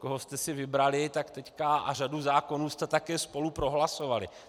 Koho jste si vybrali, tak teď... a řadu zákonů jste také spolu prohlasovali.